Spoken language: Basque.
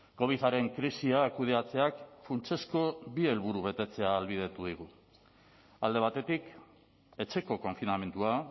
covidaren krisia kudeatzeak funtsezko bi helburu betetzea ahalbidetu digu alde batetik etxeko konfinamendua